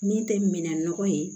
Min tɛ minɛ nɔgɔ ye